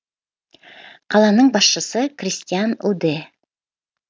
қаланың басшысы кристиан уде